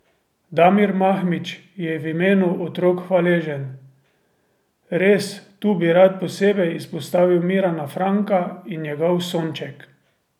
Damir Mahmić je v imenu otrok hvaležen: "Res, tu bi rad posebej izpostavil Mirana Franka in njegov Sonček.